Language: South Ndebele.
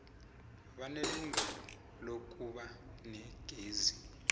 banelungelo lokuba negezi